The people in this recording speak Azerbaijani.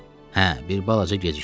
Hə, bir balaca gecikdi.